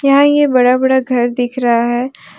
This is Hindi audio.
यहाँ ये बड़ा बड़ा घर दिख रहा है।